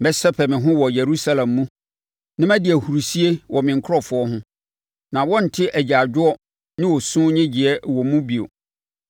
Mɛsɛpɛ me ho wɔ Yerusalem mu, na madi ahurisie wɔ me nkurɔfoɔ ho. Na wɔrente agyaadwoɔ ne osu nnyegyeeɛ wɔ mu bio.